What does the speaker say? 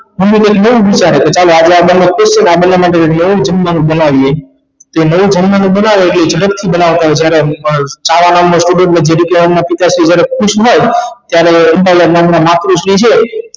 mummy તે દી બોવ વિચારે કે ચાલો આજે આ બને બોવ ખુશ છે ને આ બને માટે નવું જમવાનું બનાવયે તે નવું જમવાનું બનાવે ઍટલે ઝડપ થી બનાવતા હોય જ્યારે પણ છાયા નામ નો student ને જરીકે એના પિતાશ્રી વધારે ખુશ હોય ત્યારે મન માં ને મન માં માતુશ્રી છે